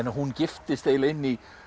hún giftist eiginlega inn í